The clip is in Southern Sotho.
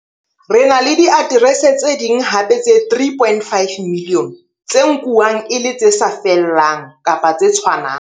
Re na le diaterese tse ding hape tse 3.5 milione tse nkuwang e le tse sa fellang kapa tse tshwanang.